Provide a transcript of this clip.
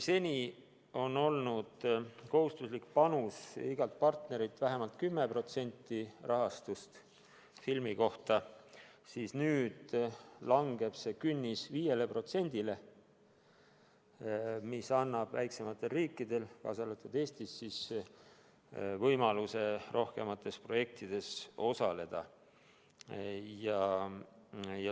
Seni on olnud iga partneri kohustuslik panus tagada vähemalt 10% rahastust filmi kohta, aga nüüd langeb see künnis 5%-le, mis annab väiksematele riikidele, kaasa arvatud Eesti, võimaluse rohkemates projektides osaleda.